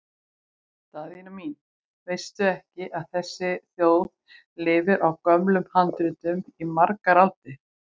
Daðína mín, veistu ekki að þessi þjóð lifði á gömlum handritum í margar aldir?